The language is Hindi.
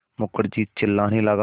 मुखर्जी चिल्लाने लगा